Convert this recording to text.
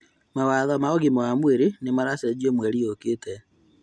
Mawatho ma ũgima wa mwĩrĩ nĩmaracenjio mweri ũkĩte